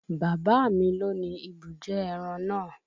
Bàbá mi loni ibùjẹ ẹran naa